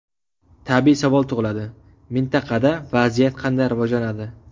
Tabiiy savol tug‘iladi: mintaqada vaziyat qanday rivojlanadi?